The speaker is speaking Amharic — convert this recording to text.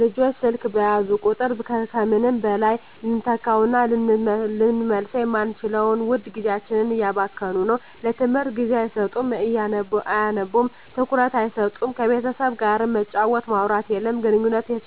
ልጆች ስልክ በያዙ ቁጥር ከምንም በላይ ልንተካዉእና ልንመልሰዉ የማንችለዉን ዉድ ጊዜያቸዉን እያባከኑት ነዉ ለትምህርት ጊዜ አይሰጡም አያነቡም ትኩረት አይሰጡም ከቤተሰብ ጋርም መጫወት ማዉራት የለም ግንኙነትን